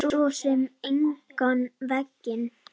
Svo sem engan veginn